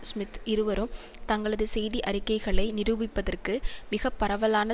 Smith இருவரும் தங்களது செய்தி அறிக்கைகளை நிரூபிப்பதற்கு மிக பரவலான